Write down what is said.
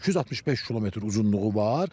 365 km uzunluğu var.